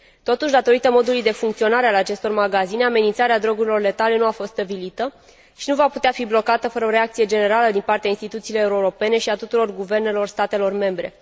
Totuși, datorită modului de funcționare al acestor magazine, amenințarea drogurilor letale nu a fost stăvilită și nu va putea fi blocată fără o reacție generală din partea instituțiilor europene și a tuturor guvernelor statelor membre.